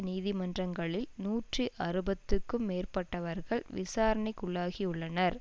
நீதிமன்றங்களில் நூற்றி அறுபதுக்கும் மேற்பட்டவர்கள் விசாரணைக்குள்ளாகியுள்ளனர்